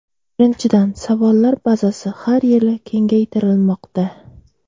Birinchidan, savollar bazasi har yili kengaytirilmoqda.